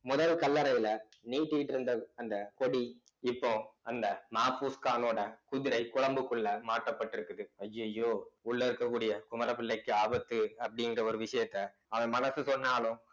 முதல் கல்லறையில நீட்டிட்டிருந்த அந்த கொடி இப்போ அந்த மாபுஸ்கானோட குதிரை குழம்புக்குள்ள மாற்றப்பட்டிருக்குது அய்யய்யோ உள்ள இருக்கக்கூடிய குமர பிள்ளைக்கு ஆபத்து அப்படிங்கிற ஒரு விஷயத்த அவன் மனசு சொன்னாலும்